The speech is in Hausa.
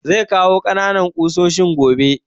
Zai kawo ƙananan ƙusoshin gobe